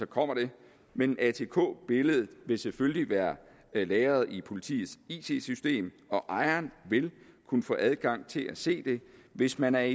kommer det men atk billedet vil selvfølgelig være lagret i politiets it system og ejeren vil kunne få adgang til at se det hvis man er